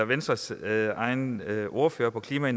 venstres egen ordfører på klima